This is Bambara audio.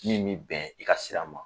Min min bɛn i ka sira ma